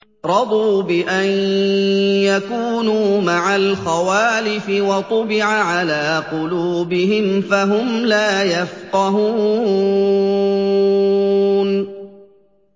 رَضُوا بِأَن يَكُونُوا مَعَ الْخَوَالِفِ وَطُبِعَ عَلَىٰ قُلُوبِهِمْ فَهُمْ لَا يَفْقَهُونَ